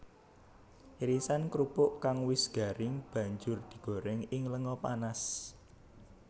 Irisan krupuk kang wis garing banjur digoréng ing lenga panas